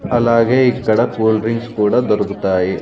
అలాగే ఇక్కడ cool drinks కూడా దొరుకుతాయి.